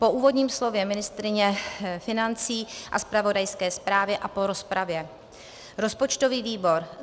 Po úvodním slově ministryně financí a zpravodajské zprávě a po rozpravě rozpočtový výbor